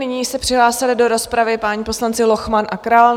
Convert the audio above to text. Nyní se přihlásili do rozpravy páni poslanci Lochman a Král.